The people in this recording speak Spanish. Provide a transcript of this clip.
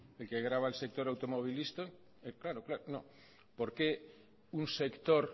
el que grava el sector automovilístico claro no por qué un sector